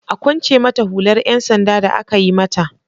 A kwance mata hular 'yan sanda da aka yi mata!